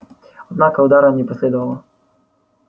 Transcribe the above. однако удара не последовало